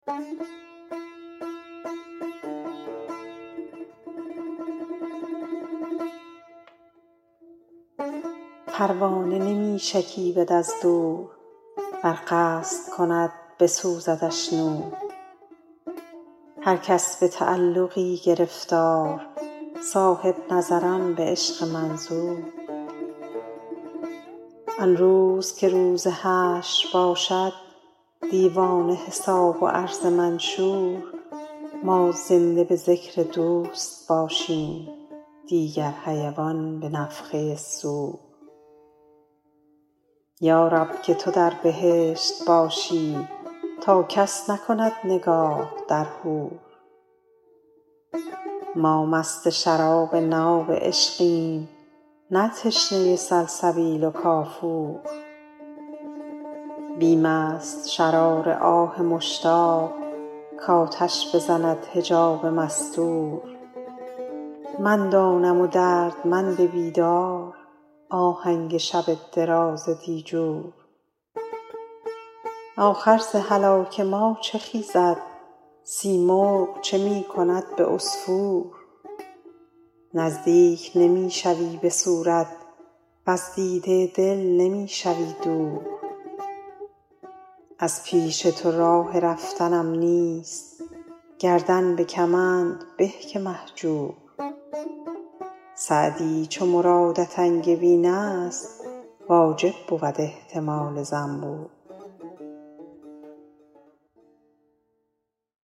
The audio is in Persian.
پروانه نمی شکیبد از دور ور قصد کند بسوزدش نور هر کس به تعلقی گرفتار صاحب نظران به عشق منظور آن روز که روز حشر باشد دیوان حساب و عرض منشور ما زنده به ذکر دوست باشیم دیگر حیوان به نفخه صور یا رب که تو در بهشت باشی تا کس نکند نگاه در حور ما مست شراب ناب عشقیم نه تشنه سلسبیل و کافور بیم است شرار آه مشتاق کآتش بزند حجاب مستور من دانم و دردمند بیدار آهنگ شب دراز دیجور آخر ز هلاک ما چه خیزد سیمرغ چه می کند به عصفور نزدیک نمی شوی به صورت وز دیده دل نمی شوی دور از پیش تو راه رفتنم نیست گردن به کمند به که مهجور سعدی چو مرادت انگبین است واجب بود احتمال زنبور